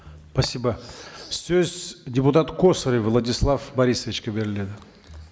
спасибо сөз депутат косарев владислав борисовичке беріледі